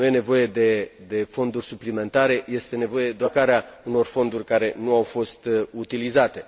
Nu este nevoie de fonduri suplimentare, este nevoie doar de realocarea unor fonduri care nu au fost utilizate.